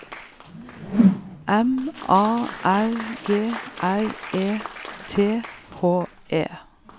M A R G R E T H E